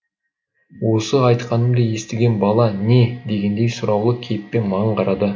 осы айтқанымды естіген бала не дегендей сұраулы кейіппен маған қарады